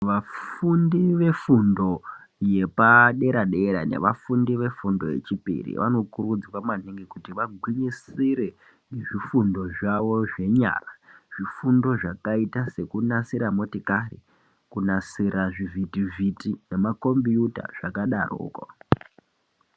Vafundi vefundo yepadera-dera, nevafundi vefundo yechipiri, vanokurudzirwa maningi kuti vagwinyisire nezvifundo nezvifundo zvavo zvenyara, zvifundo zvakaita sekunasira motokari nekunasira zvivhitivhiti, nemakhombiyuta zvakadaroko.